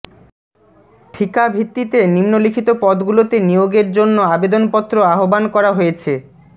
ঠিকা ভিত্তিতে নিম্নলিখিত পদগুলোতে নিয়োগের জন্য আবেদনপত্ৰ আহ্বান করা হয়েছে